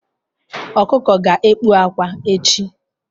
Ọkụkọ ga-ekpu akwa echi